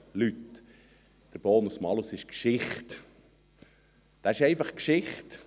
Leute, der Bonus-Malus ist Geschichte, er ist einfach Geschichte!